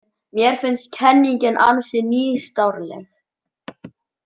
Mér finnst kenningin ansi nýstárleg.